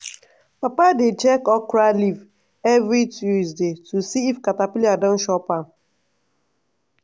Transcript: papa dey check okra leaf every two days to see if caterpillar don chop am.